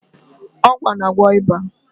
Ọgwụ a na-agwọ ịba.